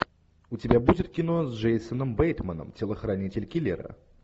у тебя будет кино с джейсоном бейтманом телохранитель киллера